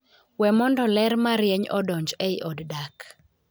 We mondo ler marieny odonj ei od dak.